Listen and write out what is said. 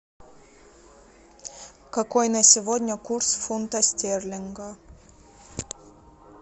какой на сегодня курс фунта стерлинга